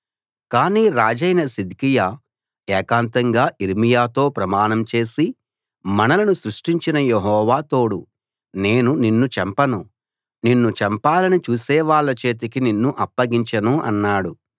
కాని రాజైన సిద్కియా ఏకాంతంగా యిర్మీయాతో ప్రమాణం చేసి మనలను సృష్టించిన యెహోవా తోడు నేను నిన్ను చంపను నిన్ను చంపాలని చూసేవాళ్ల చేతికి నిన్ను అప్పగించను అన్నాడు